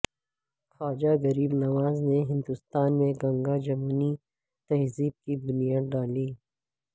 خواجہ غریب نواز نے ہندوستان میں گنگا جمنی تہذیب کی بنیاد ڈالی